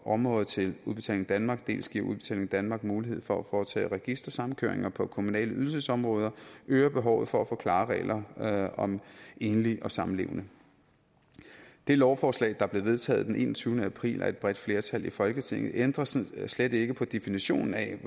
områder til udbetaling danmark dels giver udbetaling danmark mulighed for at foretage registersamkøring på på kommunale ydelsesområder øger behovet for at få klare regler om enlige og samlevende det lovforslag der blev vedtaget den enogtyvende april af et bredt flertal i folketinget ændrer slet ikke på definitionen af